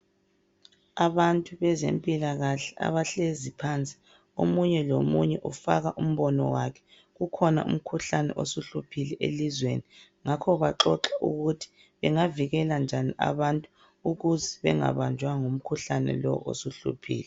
Abantu bezempilakahle abahlezi phansi omunye lomunye ufaka umbono wakhe ukhona umkhuhlane osuhluphile elizweni. Ngakho baxoxa ukuthi bengavikela njani abantu ukuze bangabanjwa ngumkhuhlane lowu osuhluphile.